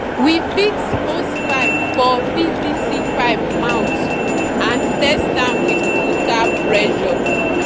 we fix hosepipe for pvc pipe mouth and test am with full tap pressure